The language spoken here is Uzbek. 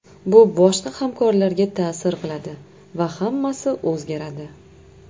Bu boshqa hamkorlarga ta’sir qiladi va hammasi o‘zgaradi.